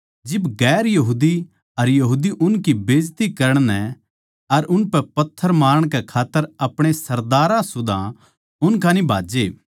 जिब दुसरी जात्तां आळे अर यहूदी उनकी बेइज्जती करण नै अर उनकै पत्थर मारण कै खात्तर अपणे सरदारां सुदा उन कान्ही भाज्जे